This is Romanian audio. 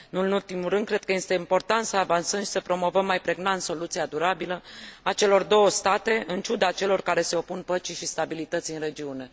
Nu în ultimul rând, cred că este important să avansăm și să promovăm mai pregnant soluția durabilă a celor două state, în ciuda celor care se opun păcii și stabilității în regiune.